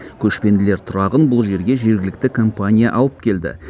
көшпенділер тұрағын бұл жерге жергілікті компания алып келді